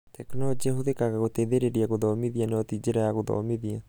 tekinorojĩ ĩhuthĩkaga gũteithĩrĩria gũthomithia no ti njĩra ya gũthomithia.